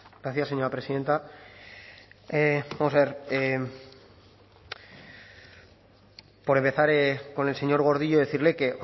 gracias señora presidenta vamos a ver por empezar con el señor gordillo decirle que